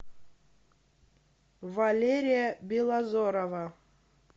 валерия белозерова